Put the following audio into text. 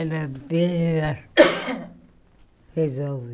Ela vê resolve.